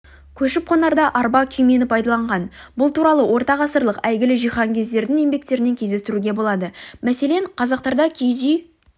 көшіп-қонарда арба күймені пайдаланған бұл туралы ортағасырлық әйгілі жиһанкездердің еңбектерінен кездестіруге болады мәселен қазақтарда киіз